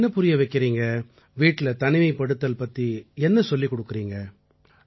என்ன புரிய வைக்கறீங்க வீட்டில தனிமைப்படுத்தல் பத்தி என்ன சொல்லிக் கொடுக்கறீங்க